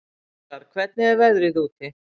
Borgar, hvernig er veðrið úti?